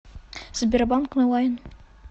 сбербанк онлайн